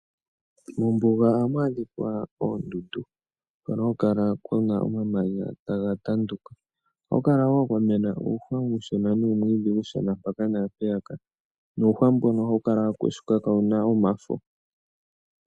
Mombuga ohamu adhika oondundu hono haku kala kuna omamanya taga tanduka. Ohaku kala wo kwamena uuhwa uushona nuumwiidhi uushona mpaka naampeyaka. Nuuhwa mbono ohawu kala wakushuka kaawuna omafo.